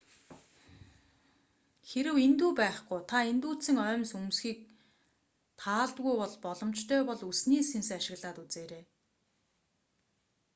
хэрэв индүү байхгүй та индүүдсэн оймс өмсөхийг таалдаггүй бол боломжтой бол үсний сэнс ашиглаад үзээрэй